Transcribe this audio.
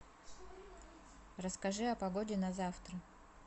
расскажи о погоде на завтра